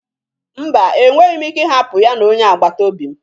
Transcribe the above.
Mba, enweghị m ike ịhapụ ha na onye agbata obi m